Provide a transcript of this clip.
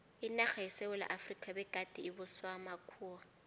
inarha yesewula efrika begade ibuswa makhuwa